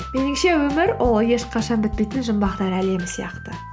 меніңше өмір ол ешқашан бітпейтін жұмбақтар әлемі сияқты